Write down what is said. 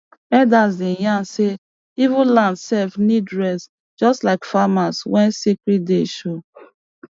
elders dey yarn say even land sef need rest just like farmer when sacred day show